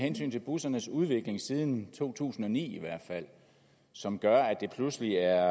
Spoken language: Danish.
bussernes udvikling i siden to tusind og ni som gør at det pludselig er